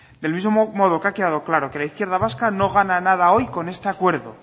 del mismo modo que ha quedado claro que la izquierda vasca no gana nada hoy con este acuerdo